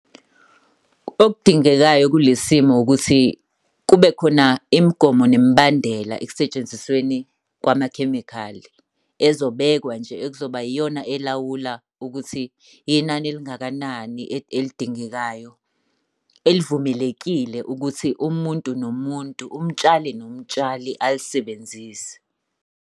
Okudingekayo kule simo ukuthi kube khona imigomo nemibandela ekusetshenzisweni kwamakhemikhali. Ezobekwa nje, ekuzoba iyona elawula ukuthi inani elingakanani elidingekayo. Elivumelekile ukuthi umuntu nomuntu, umtshali nomtshali alisebenzise.